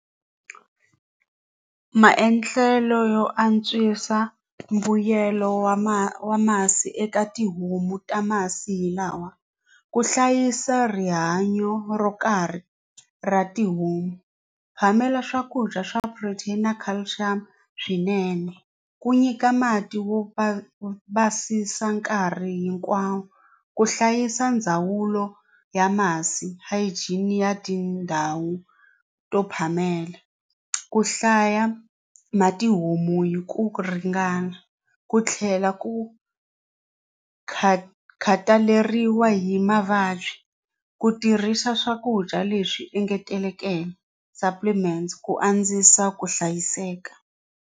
Maendlelo yo antswisa mbuyelo wa ma wa masi eka tihomu ta masi hi lawa ku hlayisa rihanyo ro karhi ra tihomu phamela swakudya swa protein na calcium swinene ku nyika mati wo va basisa nkarhi hinkwawo ku hlayisa ndzawulo ya masi hygiene ya tindhawu to phamela ku hlaya ma tihomu hi ku ringana ku tlhela ku khataleriwa hi mavabyi ku tirhisa swakudya leswi engetelekeke supplements ku andzisa ku hlayiseka.